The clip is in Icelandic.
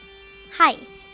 hæ